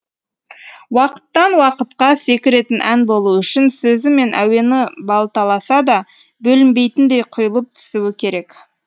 уақыттан уақытқа секіретін ән болу үшін сөзі мен әуені балталаса да бөлінбейтіндей құйылып түсуі керек